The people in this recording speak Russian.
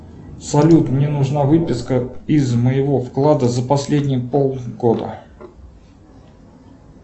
салют мне нужна выписка из моего вклада за последние полгода